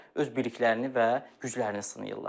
öz biliklərini və güclərini sınayırlar.